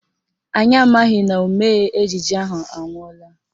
Anyị amaghị na omee ejije ahụ anwụọla